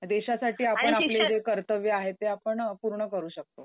देशासाठी आपण आपले जे कर्तव्य आहेत ते आपण पूर्ण करू शकतो.